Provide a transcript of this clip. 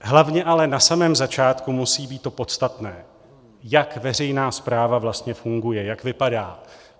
Hlavně ale na samém začátku musí být to podstatné, jak veřejná správa vlastně funguje, jak vypadá.